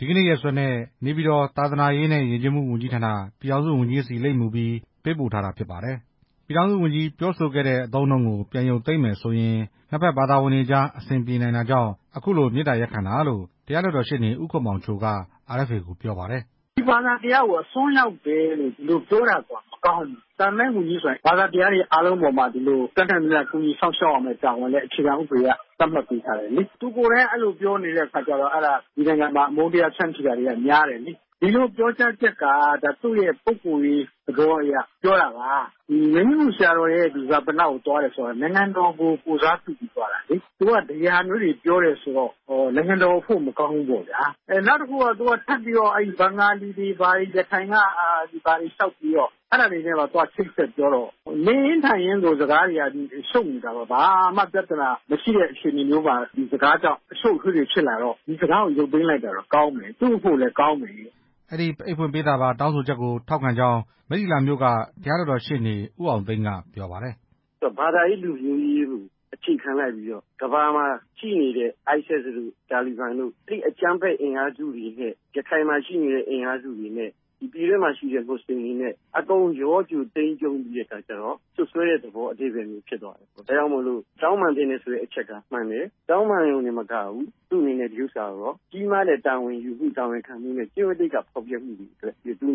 ဒီကနေ့ရက်စွဲနဲ့ နေပြည်တော် သာသနာရေးနဲ့ ယဉ်ကျေးမှုဝန်ကြီးဌာန ပြည်ထောင်စုဝန်ကြီးဆီ လိပ်မူပြီး ပေးပို့ထားတာဖြစ်ပါတယ်။ ပြည်ထောင်စုဝန်ကြီး ပြောဆိုခဲ့တဲ့အသုံးအနှုန်းကို ပြန်ရုပ်သိမ်းမယ်ဆိုရင် နှစ်ဘက်ဘာသာဝင်တွေအကြား အဆင်ပြေနိုင်တာကြောင့် အခုလို မေတ္တာရပ်ခံရတာလို့ တရားလွှတ်တော်ရှေ့နေ ဦးခင်မောင်ချိုက RFA ကို ပြောပါတယ်။ "ဒီဘာသာတရားကို အစွန်းရောက်တယ်လို့ပြောတာကိုက မကောင်းဘူး။ သာသနာရေးဝန်ကြီးဆိုတာ ဘာသာတရားတွေရဲ့အပေါ်မှာ တတ်နိုင်သမျှ အခြေခံဥပဒေအရ ကူညီစောင့်ရှောက်ရမယ်ဆိုတာ သတ်မှတ်ပေးထားတယ်လေ။ သူကိုယ်တိုင်က အဲလိုပြောနေတယ်ဆိုမှ ဒီနိုင်ငံမှာ အမုန်းတရားတွေက များတယ်လေ ဒီလိုပြောကြားချက်က သူ့ရဲ့ပုဂ္ဂိုလ်ရေးသဘောအရ ပြောတာပါ။ မြိုင်ကြီးငူဆရာတော်ရဲ့ ဈာပနသွားတာက နိုင်ငံတော်ကိုယ်စားပြုသွားတာလေ။ သူကဒီဟာမျိုးတွေပြောတယ်ဆိုတော့ နိုင်ငံ တော်အဖို့ မကောင်းဘူးပေါ့ဗျာ။ ဘင်္ဂါလီတွေ ရခိုင်က ဘာတေ အဲဒါတွေနဲ့ပါ လျှောက်ချိတ်ဆက်ပြော တော့ နေရင်းထိုင်ရင်းကို စကားတွေက ရှုပ်နေတာပေါ့။ ဘာမှပြဿနာမရှိတဲ့အချိန် ဒီစကားကြောင့် ရှုပ် ထွေးလို့ ဒီစကားကိုရုပ်သိမ်းလိုက်တာ သူ့အနေနဲ့လည်းကောင်းမယ်" အဲဒီအိတ်ဖွင့်ပေးစာပါ တောင်းဆိုချက်ကို ထောက်ခံကြောင်း မိတ္ထီလာမြို့က တရားလွှတ်တော်ရှေ့နေ ဦးအောင်သိန်း က ပြောပါတယ်။ "ဘာသာရေး၊ လူမျိုးရေးကို အခြေခံလိုက်ပြီးတော့ ကမ္ဘာမှာရှိနေတဲ့ ISIS တို့ တာလီဘန်တို့ အဲဒီ အကြမ်းဖက် အင်အားစုတွေနဲ့ ရခိုင်မှာရှိနေတဲ့ အင်အားစုတွေနဲ့ ပြည်တွင်းမှာ ရှိနေတဲ့ မွတ်စလင်တွေနဲ့ အကုန်ရောသိမ်းပြီးတော့ စွပ်စွဲတဲ့သဘော သက်ရောက်သွားတယ်။ ဒါကြောင့်မို့လို့ တောင်းပန်သင့်တယ် ဆိုတဲ့အချက်က မှန်တယ် တောင်းပန်ရုံတင်မကဘူး သူ့အနေနဲ့ ဒီဥစ္စာကို ကြီးမားတဲ့ တာဝန်ယူမှု၊ တာဝန်ခံမှုနဲ့ ကျင့်ဝတ်သိက္ခာ ဖောက်ဖျက်မှုတွေ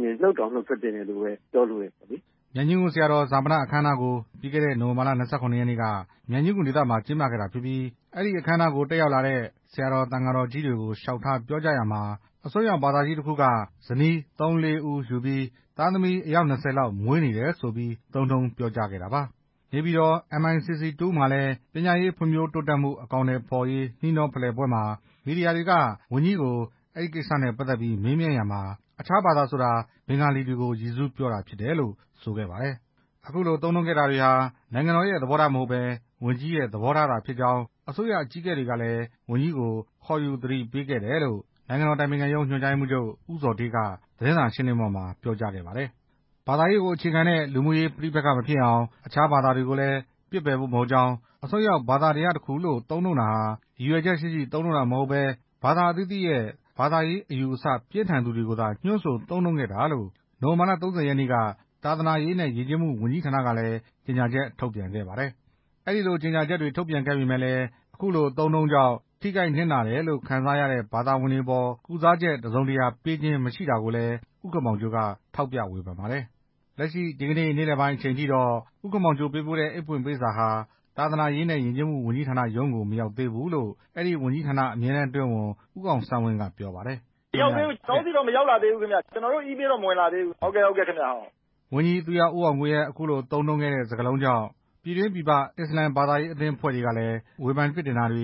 နဲ့ နုတ်တောင် နုတ်ထွက်သင့်တယ်လို့ ပြောလိုတယ်လေ" မြိုင်ကြီးငူ ဆရာတော် ဈာပနအခမ်းအနားကို ပြီးခဲ့တဲ့ နိုဝင်ဘာလ ၂၇ ရက်နေ့က မြိုင်ကြီးငူဒေသမှာ ကျင်းပခဲ့တာဖြစ်ပြီး အဲဒီအခမ်းအနားကို တက်ရောက်လာတဲ့ ဆရာတော် သံဃာတော်ကြီးတွေကို လျှောက်ထားပြောကြားရာမှာ အစွန်းရောက်ဘာသာကြီးတစ်ခုက ဇနီး ၃ / ၄ ဦးယူပြီး သားသမီး ၂၀ လောက် မွေးနေတယ်ဆိုပြီး သုံးနှုန်း ပြောကြားခဲ့တာပါ။ နေပြည်တော် MICC 2 မှာလည်း ပညာရေး ဖွံ့ဖြိုးတိုးတက်မှု အကောင်အထည်ဖော်ရေး နှီးနှောဖလှယ်ပွဲမှာ မီဒီယာတွေက ဝန်ကြီးကို အဲဒီကိစ္စနဲ့ပတ်သက်ပြီး မေးမြန်းရာမှာ အခြားဘာသာဆိုတာ ဘင်္ဂါလီတွေကို ရည်စူးပြောတာဖြစ်တယ်လို့ ဆိုခဲ့ပါတယ်။ အခုလို သုံးနှုန်းခဲ့တာတွေဟာ နိုင်ငံတော်ရဲ့ သဘောထားမဟုတ်ဘဲ ဝန်ကြီးရဲ့ သဘောထားသာဖြစ်ကြောင်း အစိုးရ အကြီးအကဲတွေကလည်း ဝန်ကြီးကို ခေါ်ယူသတိပေးခဲ့တယ်လို့ နိုင်ငံတော် အတိုင်ပင်ခံရုံး ညွှန်ကြားရေးမှုးချုပ် ဦးဇော်ဌေးက သတင်းစာရှင်းလင်းပွဲမှာ ပြောကြားခဲ့ပါတယ်။ ဘာသာရေးကို အခြေခံတဲ့ လူမှုရေးပဋိပက္ခ မဖြစ်အောင်၊ အခြားဘာသာတွေကိုလည်း ပစ်ပယ်ဖို့မဟုတ်ကြောင်း အစွန်းရောက် ဘာသာတရားတစ်ခုလို့ သုံးနှုန်းတာဟာ ရည်ရွယ်ချက်ရှိရှိ သုံးနှုန်းတာမဟုတ်ဘဲ ဘာသာအသီးသီးရဲ့ ဘာသာရေးအယူအဆ ပြင်းထန်သူတွေကိုသာ ညွှန်းဆို သုံးနှုန်းခဲ့တာလို့ နိုဝင်ဘာလ ၃၀ ရက်နေ့က သာသနာရေးနဲ့ ယဉ်ကျေးမှု ဝန်ကြီးဌာနကလည်း ကြေညာချက် ထုတ်ပြန်ခဲ့ပါတယ်။ အဲဒီလို ကြေညာချက်တွေ ထုတ်ပြန်ခဲ့ပေမယ့် အဲဒီအသုံးအနှုန်းကြောင့် ထိခိုက်နစ်နာတယ်လို့ ခံစားရတဲ့ ဘာသာဝင်တွေအပေါ် ကုစားချက် တစ်စုံတစ်ရာ ပေးခြင်းမရှိတာကိုလည်း ဦးခင်မောင်ချိုက ထောက်ပြဝေဖန်ပါတယ်။ လက်ရှိ ဒီကနေ့ နေ့လည်ပိုင်းအချိန်ထိတော့ ဦးခင်မောင်ချို ပေးပို့တဲ့ အိတ်ဖွင့်ပေးစာဟာ သာသနာရေးနဲ့ ယဉ်ကျေးမှု ဝန်ကြီးဌာနရုံးကို မရောက်သေးဘူးလို့ အဲဒီဝန်ကြီးဌာန အမြဲတန်း အတွင်းဝန် ဦးအောင်ဆန်းဝင်းက ပြောပါတယ်။ "မရောက်သေးဘူး၊ ကျနော်တို့ဆီတော့ မရောက်သေးဘူးခင်ဗျ။ ကျနော်တို့ အီးမေးထဲတော့ မရောက်သေးဘူးခင်ဗျ" ဝန်ကြီး သူရဦးအောင်ကိုရဲ့ အခုလို သုံးနှုန်းတဲ့စကားလုံးကြောင့် ပြည်တွင်းပြည်ပ အစ္စလာမ် အသင်းအဖွဲ့တွေကလည်း ဝေဖန်ပြစ်တင်တာတွေ